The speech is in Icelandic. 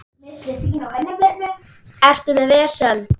Ertu með vesen?